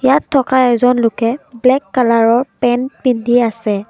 ইয়াত থকা এজন লোকে ব্লেক কালাৰৰ পেন্ট পিন্ধি আছে।